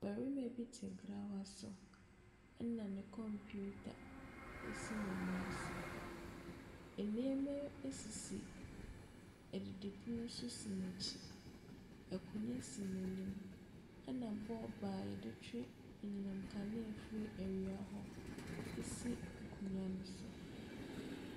Ɔbarima bi te grawa so, ɛnna ne computer si ne nan so. Nneɛma sisi adidipono so si n'akyi. Akonnwa si n'anim, ɛnna bɔɔbo a wɔde twe anyinam nkanea firi awia hɔ si akonnwa no so.